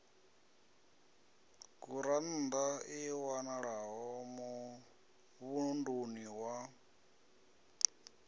gurannḓa i wanalaho muvhunduni wa